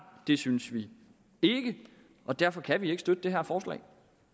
det synes vi ikke og derfor kan vi ikke støtte det her forslag